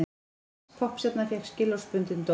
Þýsk poppstjarna fékk skilorðsbundinn dóm